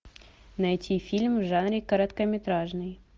найти фильм в жанре короткометражный